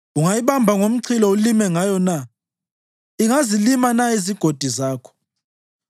Ungayibamba ngomchilo ulime ngayo na? Ingazilima na izigodi zakho?